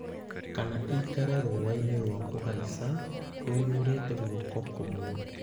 Kana ĩikare rũũa-inĩ rwa kũhaica (rũiyũrĩte guoko kũmwe).